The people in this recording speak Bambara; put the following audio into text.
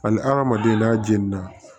Hali hadamaden n'a jenina